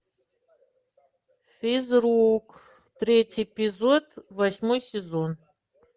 физрук третий эпизод восьмой сезон